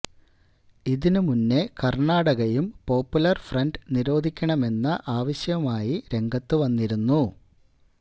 ഇതിന് മുന്നേ കര്ണാടകയും പോപ്പുലര് ഫ്രണ്ട് നിരോധിക്കണമെന്ന ആവശ്യവുമായി രംഗത്ത് വന്നിരുന്നു